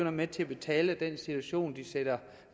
er med til at betale den situation de sætter